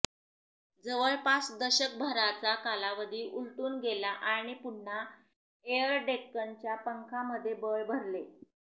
जवळपास दशकभराचा कालावधी उलटून गेला आणि पुन्हा एअर डेक्कनच्या पंखांमध्ये बळ भरले